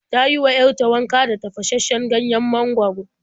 Ta yi wa 'yar ta wanka da tafashasshen ganyen mangwaro.